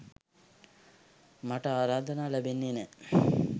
මට ආරාධනා ලැබෙන්නෙ නෑ.